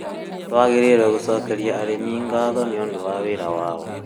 Tũagĩrĩirwo gũcokeria arĩmĩ gatho nĩũndũ wa wĩra wao